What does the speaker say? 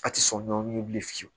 A ti sɔn nɔ bilen fiyewu